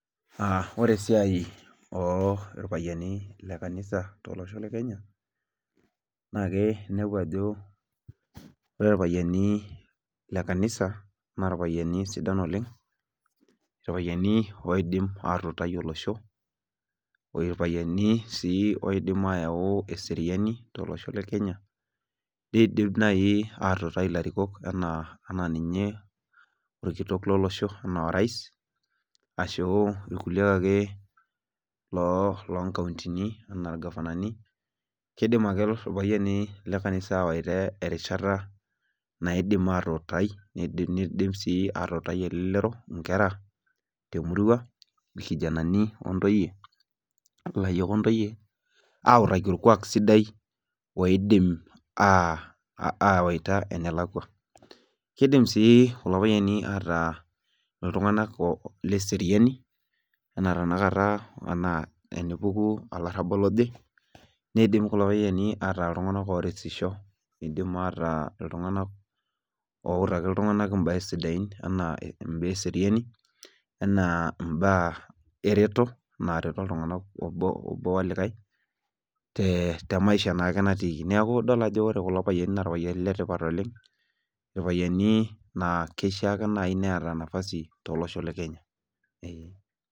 Aa ore esiai orpayiani lekanisa tolosho lekenya na inepu ajo ore irpayiani lekanisa na irpayiani sidan oleng oidim atuutai olosho, irpayiani loidim ayau eseriani tolosho lekenya nidim nai atuutai larikok ana orkitok lolosho ana orais ashu rkulie ake lonkauntini ana irgafanani ,kidim ake irpayian lebkanisa aidim atuutai elelero temurua nkera irkijanani ontoyie autaki orkuak sidai oidim awaita enalakwa, kidim si kulo payiani ataa ltunganak leseriani ana tanakata tenepuku olarabal oje nidim kulo payiani ata ltunganak oretishk idim ataa ltunganak outaki ltunganak mbaa sidan ana mbaa eseriani na mbaa ereto nareto ltunganak obo olikae temaisha na natiiki neaku idol ajo ore kulo payiani na irpayiani letipat oleng na kishaake peeta nafasi tolosho le Kenya, eeh.